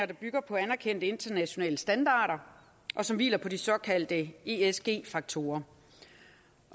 der bygger på anerkendte internationale standarder og som hviler på de såkaldte esg faktorer